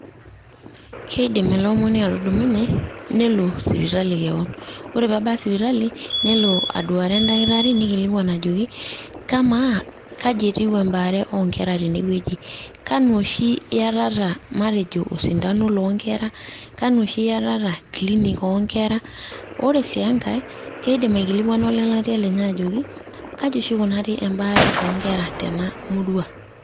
Keidim ele omoni atudumunye nelo sipitaki kewon ore pee ebaya sipitali nelo aduare endakitari neikilikuan ajoki kamaa kaji etiu embaare oonkera tenewueji kanu oshi iyatata osindano loonkera kanu oshi iyatata clinic oonkera ore sii enkae Keidim olelatia lenye ajoki kaji oshi eikunari embaare oonkera tena murua.